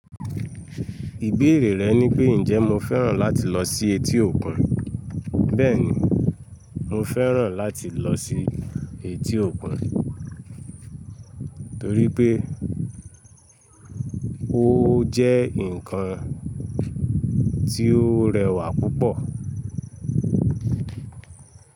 Ìbéèrè rẹ ní pé ǹjẹ́ mo fẹ́ràn láti lọ sí etí òkun, bẹ́ẹ̀ni mo fẹ́ràn láti lọ sí etí òkun torí pé ó jẹ́ ǹkan tí ó rẹwà púpọ̀